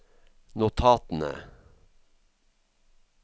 notatene